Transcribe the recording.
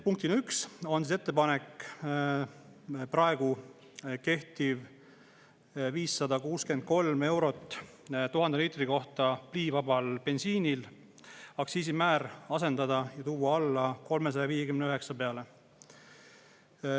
Punktina 1 on ettepanek praegu kehtiv 563 eurot 1000 liitri kohta pliivabal bensiinil aktsiisimäär asendada ja tuua alla 359 peale.